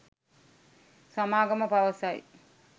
සමාගම පවසයි